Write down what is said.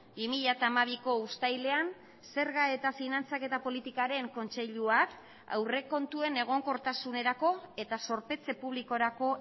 bi mila hamabiko uztailean zerga eta finantzaketa politikaren kontseiluak aurrekontuen egonkortasunerako eta zorpetze publikorako